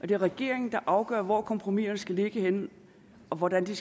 det er regeringen der afgør hvor kompromiserne skal ligge henne og hvordan de